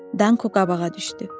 Danko qabağa düşdü.